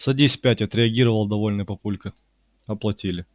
садись пять отреагировал довольный папулька